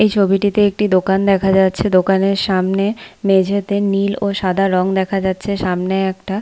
এই ছবিটিতে একটি দোকান দেখা যাচ্ছে দোকানের সামনে মেঝেতে নীল ও সাদা রং দেখা যাচ্ছে। সামনে একটা--